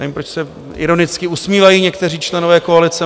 Nevím, proč se ironicky usmívají někteří členové koalice.